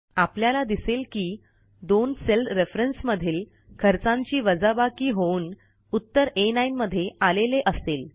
आपल्याला दिसेल की दोन सेल रेफरन्स मधील खर्चांची वजाबाकी होऊन उत्तर आ9 मध्ये आलेले असेल